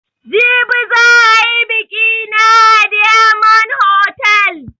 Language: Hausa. Jibi za ayi biƙi na a diyamond hotal